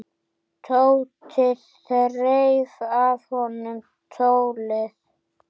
Tóti þreif af honum tólið.